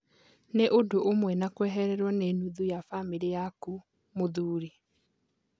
"Nĩ ũndũ ũmwe na kwehererwo nĩ nuthu ya bamĩrĩ yaku," mũthuri